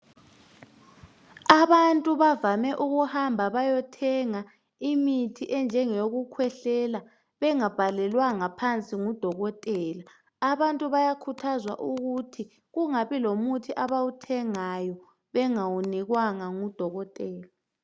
Abantu bavame ukuhamba beyothenga imithi enjengeyokukhwehlela bengabhalelwanga phansi ngudokotela .Abantu bayakhuthazwa ukuthi kungabi lomuthi abawuthengayo bengawunikwanga ngudokotela.